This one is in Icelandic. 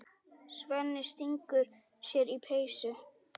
Svenni stingur sér í peysu.